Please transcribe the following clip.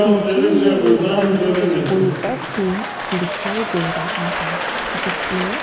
मुझे ये एक अंदर स्कूल का सीन दिखाई दे रहा है जिसमें--